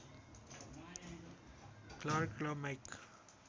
Clark र mic